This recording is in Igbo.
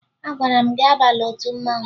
Agwara m gị abala otu mmanwụ!